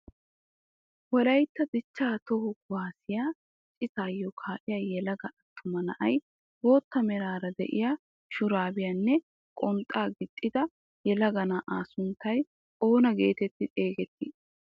Wolaytta dichchaa toho kuwaasiyaa ciitaayoo ka'iyaa yelaga attuma na'ay bootta meraara de'iyaa shurabiyaanne qonxxaa gixxida yelaga na'aa sunttay oona getetti xegettii?